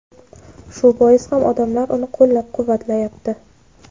shu bois ham odamlar uni qo‘llab-quvvatlayapti.